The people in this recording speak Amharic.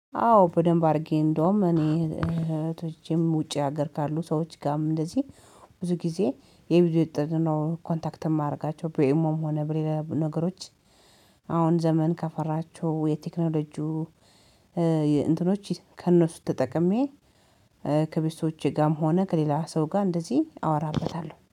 አዎ በደንብ አድርጌ እንደውም እኔ እህቶቼም ውጪ ሀገር ካሉ ሰዎች ጋርም እንደዚህ ብዙ ጊዜ የብዙ የልጆች ጥሪ ነው ኮንታክት የማደርጋቸው ቢኤሞም ሆነ በሌላ ነገሮች። አሁን ዘመን ከፈራቸው የቴክኖሎጂው እንትኖች ከእነሱ ተጠቅሜ። ከቤተሰቦቼ ጋርም ሆነ ከሌላ ሰው ጋር እንደዚህ አወራበታለሁ